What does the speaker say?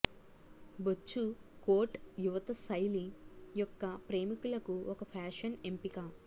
బొచ్చు కోట్ యువత శైలి యొక్క ప్రేమికులకు ఒక ఫ్యాషన్ ఎంపిక